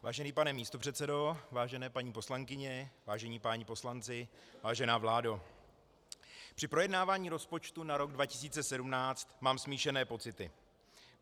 Vážený pane místopředsedo, vážené paní poslankyně, vážení páni poslanci, vážená vládo, při projednávání rozpočtu na rok 2017 mám smíšené pocity.